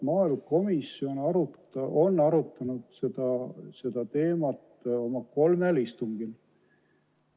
Maaelukomisjon on arutanud seda teemat kolmel istungil.